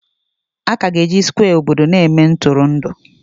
Aka ga-eji Skwe obodo na-eme Ntụrụndụ